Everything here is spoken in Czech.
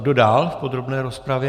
Kdo dál v podrobné rozpravě?